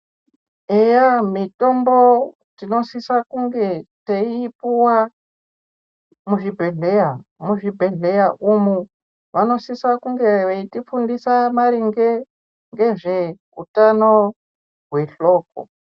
Eya mitombo tinosisa kunge teiipuwa muzvibhedhleya muzvibhedhleya umu vanosisa kunge veitifundisa maringe ngezveutano hwehloko.